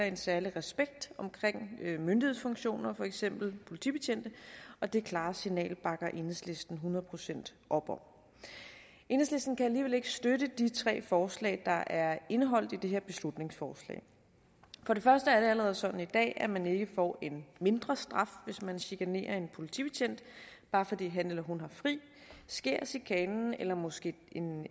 en særlig respekt omkring myndighedsfunktioner for eksempel politibetjente og det klare signal bakker enhedslisten hundrede procent op om enhedslisten kan alligevel ikke støtte de tre forslag der er indeholdt i det her beslutningsforslag for det første er det allerede sådan i dag at man ikke får en mindre straf hvis man chikanerer en politibetjent bare fordi han heller hun har fri sker chikanen eller måske